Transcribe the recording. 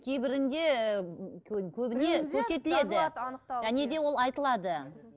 кейбірінде ііі және де ол айтылады